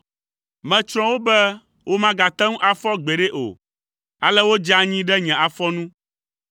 Metsrɔ̃ wo be womagate ŋu afɔ gbeɖe o, ale wodze anyi ɖe nye afɔ nu.